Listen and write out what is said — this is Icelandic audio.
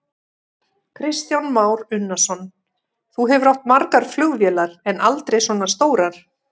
Kristján Már Unnarsson: Þú hefur átt margar flugvélar, en aldrei svona stórar?